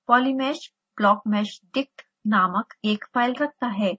polymesh blockmeshdict नामक एक file रखता है